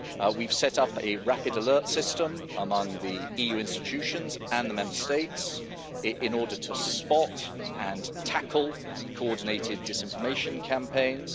We've set up a rapid alert system among the EU institutions and the Member States in order to spot and tackle coordinated disinformation campaigns.